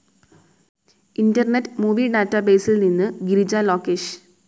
internet movie ഡാറ്റാബേസിൽ നിന്ന് ഗിരിജ ലോകേഷ്